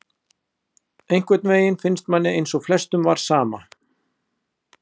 Einhvern veginn finnst manni eins og flestum var sama,